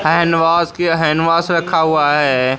Handwash की handwash रखा हुआ है।